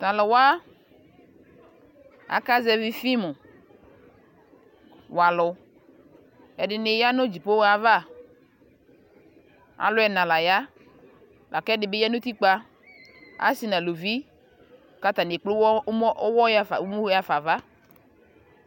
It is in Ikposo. Talu wa aka zɛvi fim wa alu Ɛde ne ya no dzipohɔ avaAlu ɛna la ya la kɛde be ya no utikpaAse na luvi ka atane ekple uwɔ, umɔ, awɔ yafa, uwɔ yiafa ava